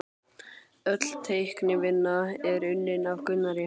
Öll teiknivinna er unnin af Gunnari